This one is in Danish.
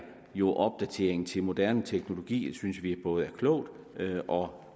jo opdatering til moderne teknologi det synes vi er både klogt og